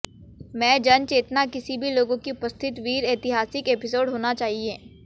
में जन चेतना किसी भी लोगों की उपस्थित वीर ऐतिहासिक एपिसोड होना चाहिए